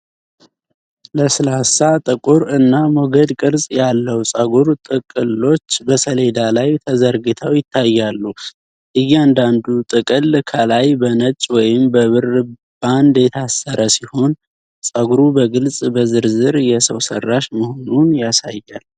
ለስላሳ፣ ጥቁር እና ሞገድ ቅርጽ ያለው ፀጉር ጥቅሎች በሰሌዳ ላይ ተዘርግተው ይታያሉ። እያንዳንዱ ጥቅል ከላይ በነጭ ወይም በብር ባንድ የታሰረ ሲሆን፣ ፀጉሩ በግልጽ በዝርዝር የሰው ሰራሽ መሆኑን ያሳያል።